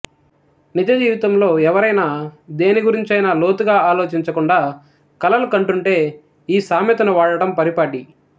నిజజీవితంలో ఎవరైనా దేనిగురించైనా లోతుగా ఆలోచించకుండా కలలు కంటూంటే ఈ సామెతను వాడడం పరిపాటి